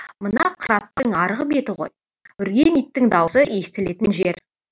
мына қыраттың арғы беті ғой үрген иттің даусы естілетін жер